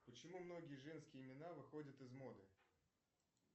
почему многие женские имена выходят из моды